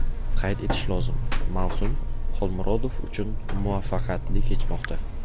Qayd etish lozim, mavsum Xolmurodov uchun muvaffaqiyatli kechmoqda.